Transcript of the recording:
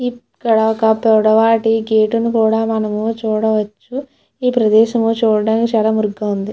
ఇక్కడ ఒక పొడ వాటి గేటు ను కూడా మనం ము చూడవచ్చు ఈ ప్రదేశం చూడడానికి చాలా మురికిగా ఉంది.